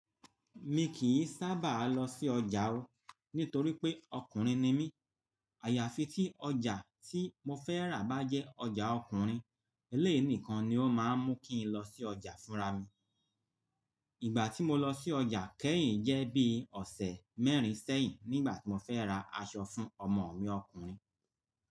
Mi kì í sábà lọ sí ọjà o, nítorí pé ọkùnrin ni mí. Àyàfi tí ọjà tí mo fẹ́ rà bá jẹ́ ọjà ọkùnrin, eléyií nikan ni ó máa ń mú kí n lọ sí ọjà fúnra mi. Ìgbà tí mo lọ sí ọjà kẹ́yìn jẹ́ bí ọ̀sẹ̀ mẹ́rin sẹ́yìn nígbà tí mo fẹ́ ra aṣọ fún ọmọ mi ọkùnrin.